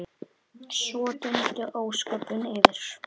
Svo dundu ósköpin yfir.